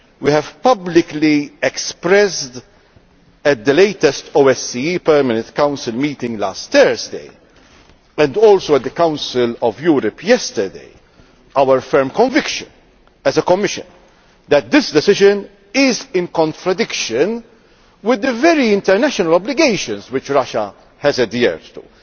We have publicly expressed at the latest OSCE Permanent Council meeting last Thursday and also at the Council of Europe yesterday our firm conviction, as a Commission, that this decision is in contradiction with the very same international obligations which Russia has adhered to.